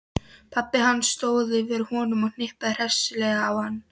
Pabbi hans stóð yfir honum og hnippti hressilega í hann.